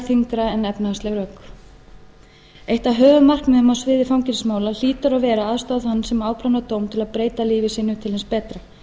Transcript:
þyngra en efnahagsleg rök eitt af höfuðmarkmiðum á sviði fangelsismála hlýtur að vera að aðstoða þann sem afplánar dóm til að breyta lífi sínu til hins betra